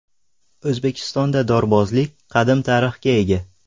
O‘zbekistonda dorbozlik qadim tarixga ega.